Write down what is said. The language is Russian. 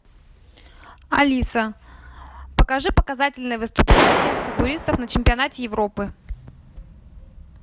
алиса покажи показательные выступления фигуристов на чемпионате европы